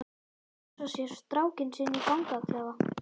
Að hugsa sér strákinn sinn í fangaklefa?